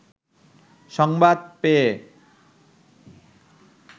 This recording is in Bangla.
সংবাদ পেয়ে